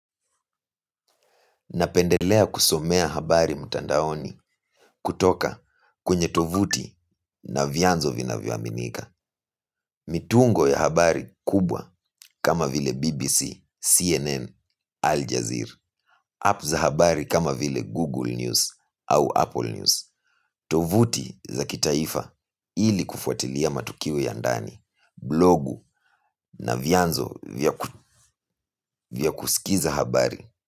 Napendelea kusomea habari mtandaoni kutoka kwenye tovuti na vyanzo vinavyoaminika. Mitungo ya habari kubwa kama vile BBC, CNN, Aljazeera app za habari kama vile Google News au Apple News. Tovuti za kitaifa ili kufuatilia matukio ya ndani, blogu na vyanzo vya kusikiza habari.